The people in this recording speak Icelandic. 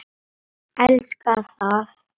Elska það.